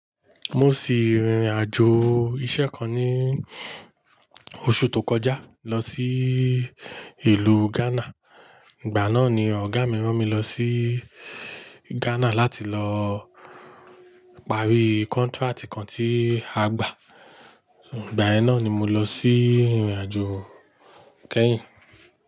Mo sì rìn irìn àjò iṣẹ́ kan ní oṣù tó kọjá lọ sí ìlú Ghana. Ìgbà náà ni ọ̀gá mi rán mi lọ sí Ghana láti lọ parí contract kan tí a gbà. Ìgbà ẹ náà ni mo lọ sí ìrìn àjò kẹ́yìn.